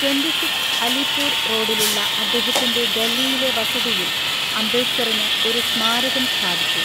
Twenty six Alipur റോഡിലുള്ള അദ്ദേഹത്തിന്‍റെ ഡൽഹിയിലെ വസതിയിൽ അംബേദ്കറിന് ഒരു സ്മാരകം സ്ഥാപിച്ചു.